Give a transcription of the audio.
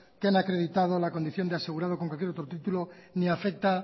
que han acreditado la condición de asegurado con cualquier otro título ni afecta